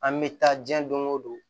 An bɛ taa diɲɛ don o don